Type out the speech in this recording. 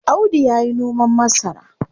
Audu yayi noman masara.